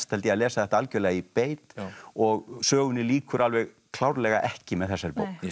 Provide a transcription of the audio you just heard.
að lesa þetta algjörlega í beit og sögunni lýkur alveg klárlega ekki með þessari bók